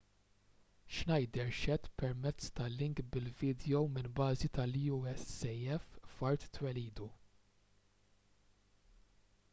schneider xehed permezz ta' link bil-vidjow minn bażi tal-usaf f'art twelidu